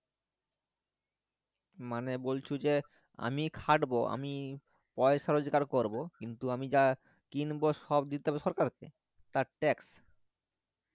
মানে বলছে যে আমি খাটবো আমি পয়সা রোজকার করবো কিন্তু আমি যা কিনব সব দিতে হবে সরকার কে তার tax